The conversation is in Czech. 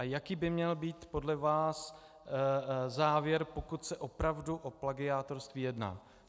A jaký by měl být podle vás závěr, pokud se opravdu o plagiátorství jedná?